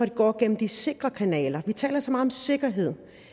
det går gennem de sikre kanaler vi taler så meget om sikkerhed